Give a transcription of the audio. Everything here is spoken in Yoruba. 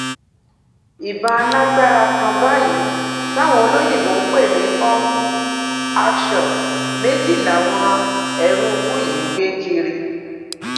ìbọn alágbára kan báyìí táwọn olóyinbo ń pè ní pump action méjì làwọn eruùkù yìí ń gbé kiri